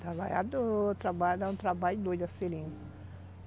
Trabalhador, trabalha, dá um trabalho doido a seringa.